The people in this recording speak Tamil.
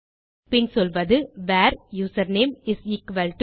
பின் சொல்வது where username is equal to